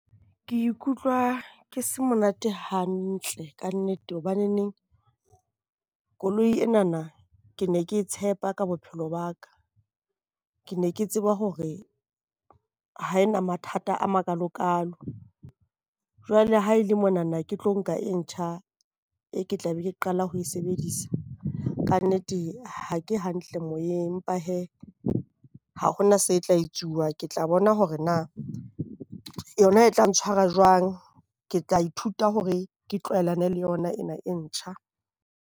Ke ikutlwa ke se monate hantle kannete hobaneneng koloi ena ke ne ke tshepa ka bophelo ba ka. Ke ne ke tsebe hore ha e na mathata a makalokalo. Jwale ha e le monana ke tlo nka e ntjha, e ke tla be ke qala ho e sebedisa kannete ha ke hantle moyeng. Empa hee ha hovna se tla etsuwa. Ke tla bona hore na yona e tla ntshwara jwang. Ke tla ithuta hore ke tlwaelane le yona ena e ntjha.